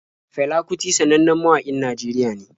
Fela kuti sannannen mawaƙin Najeriya ne.